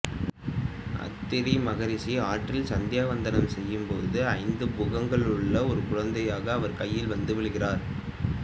அத்திரி மகரிசி ஆற்றில் சந்தியா வந்தனம் செய்யும்போது ஐந்து முகங்களுள்ள ஒரு குழந்தையாக அவர் கைகளில் வந்து விழுகிறார்